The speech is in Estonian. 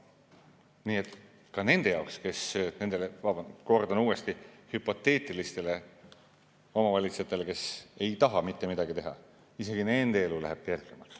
Nii et ka nendel, kordan uuesti, hüpoteetilistel omavalitsustel, kes ei taha mitte midagi teha, elu läheb kehvemaks.